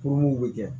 Kurun be kɛ